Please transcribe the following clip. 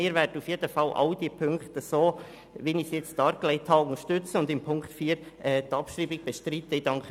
Wir werden auf jeden Fall alle diese Ziffern, so wie ich sie jetzt dargelegt habe, unterstützen und bei Ziffer 4 die Abschreibung bestreiten.